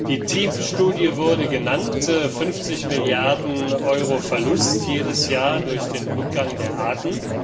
Die TEEB Studie wurde genannt 50 Milliarden Euro Verlust jedes Jahr durch den Rückgang der Arten.